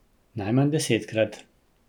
Najmanj desetkrat.